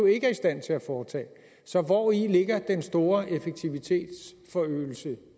ikke er i stand til at foretage så hvori ligger den store effektivitetsforøgelse